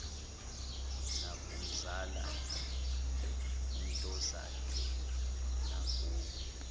nakumzala untozakhe nakubo